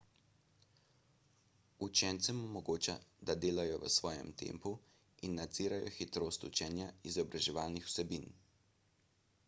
učencem omogoča da delajo v svojem tempu in nadzirajo hitrost učenja izobraževalnih vsebin